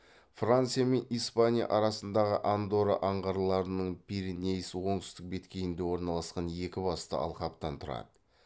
франция мен испания арасындағы андорра аңғарларының пиренейс оңтүстік беткейінде орналасқан екі басты алқаптан тұрады